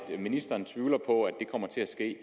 ministeren tvivler på at det kommer til at ske